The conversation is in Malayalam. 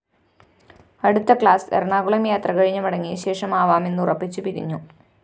അടുത്ത ക്ലാസ്‌ എറണാകുളം യാത്ര കഴിഞ്ഞു മടങ്ങിയശേഷമാവാമെന്നുറപ്പിച്ചു പിരിഞ്ഞു